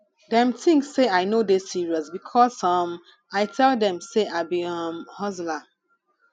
dem tink sey i no dey serious because um i tell dem sey i be um hustler